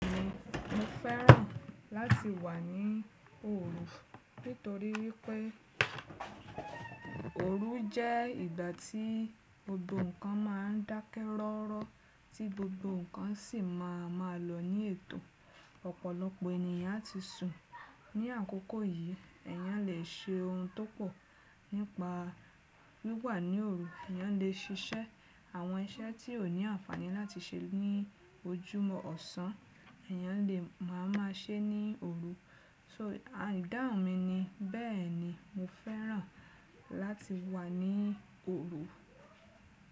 Mo, mo fẹ́ràn láti wà ní òru. Nítorí wípẹ́ òru jẹ́ ìgbà tí gbogbo ǹkan máa ń dákẹ́ rọ́rọ́, tí gbogbo ǹkan sì máa má lọ ní ètò. Ọ̀pọ̀lọpọ̀ ènìyàn tí sùn ní àkókò yìí, èyàn lè ṣe ohun tó pọ̀ nípa wíwà ní òru. Èyàn lè ṣiṣẹ́ àwọn iṣẹ́ tí ó ní àǹfààní láti ṣe ní ojúmọ́ ọ̀sán, èyàn lè má a má ṣe ní òru. So ìdáhùn mi ni, bẹ́ẹ̀ni mo fẹ́ràn láti wà ní òru.